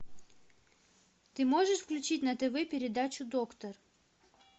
ты можешь включить на тв передачу доктор